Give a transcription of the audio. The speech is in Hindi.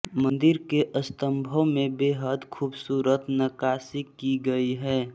मंदिर के स्तंभों में बेहद खूबसूरत नक्कासी की गई है